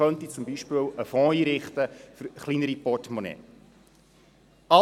Man könnte zum Beispiel einen Fonds einrichten für Personen mit kleinerem Portemonnaie.